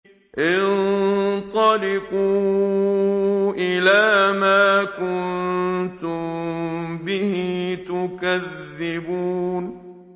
انطَلِقُوا إِلَىٰ مَا كُنتُم بِهِ تُكَذِّبُونَ